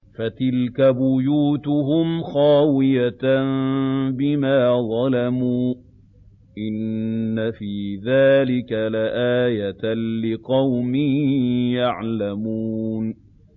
فَتِلْكَ بُيُوتُهُمْ خَاوِيَةً بِمَا ظَلَمُوا ۗ إِنَّ فِي ذَٰلِكَ لَآيَةً لِّقَوْمٍ يَعْلَمُونَ